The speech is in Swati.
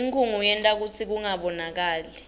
inkhunga yenta kutsi kungabonakali